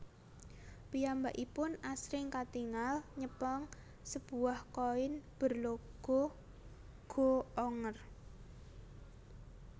Piyambakipun asring katingal nyepeng sebuah koin berlogo Go Onger